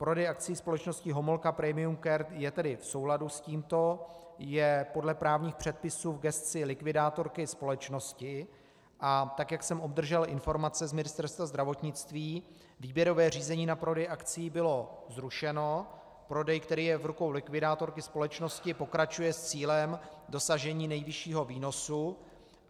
Prodej akcií společnosti Homolka Premium Care je tedy v souladu s tímto, je podle právních předpisů v gesci likvidátorky společnosti, a tak jak jsem obdržel informace z Ministerstva zdravotnictví, výběrové řízení na prodej akcií bylo zrušeno, prodej, který je v rukou likvidátorky společnosti, pokračuje s cílem dosažení nejvyššího výnosu.